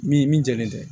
Min min jɛlen tɛ